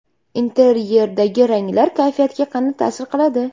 Interyerdagi ranglar kayfiyatga qanday ta’sir qiladi?.